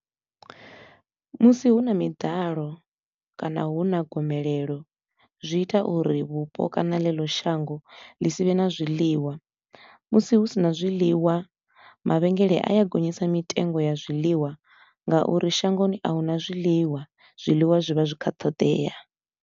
Musi hu na miḓalo kana hu na gomelelo zwi ita uri vhupo kana ḽeḽo shango ḽi si vhe na zwiḽiwa, musi hu si na zwiḽiwa mavhengeleni a ya gonyisa mitengo ya zwiḽiwa nga uri shangoni a hu na zwiḽiwa, zwiḽiwa zwi vha zwi kha ṱhoḓea.